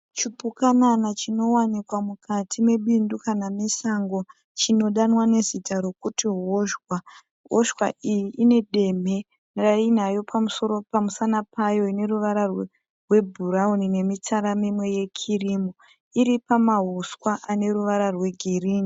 Chipukana chinowanikwa mukati mebundu kana mesango chinodanwa nezita rokuti hozhwa. Hozhwa iyi demhe rainayo pamusana payo ine ruvara rwebhurauni nemitsara mimwe yekirimu. Iri pamauswa ane ruvara rwegirinhi.